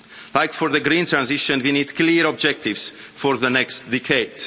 Like for the green transition we need clear objectives for the next decade.